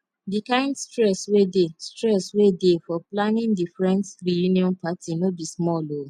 di kind stress wey dey stress wey dey for planning the friends reuion party no be small o